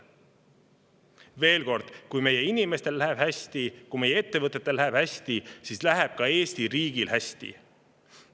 Veel kord: kui meie inimestel läheb hästi, kui meie ettevõtetel läheb hästi, siis läheb ka Eesti riigil hästi.